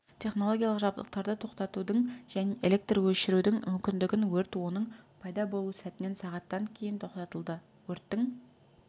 технологиялық жабдықтарды тоқтатудың және электр өшірудің мүмкіндігін өрт оның пайда болу сәтінен сағаттан кейін тоқтатылды өрттің